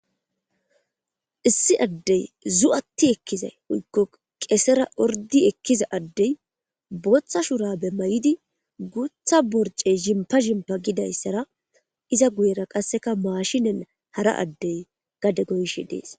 issi addey zu7atti ekkiza uykko qesera ordi ekkiza addey boththa shurabe may7idi guutha borce shimpa shimpa gidayssara iza guyera qasseka maashinen hara addey gade goyshi dees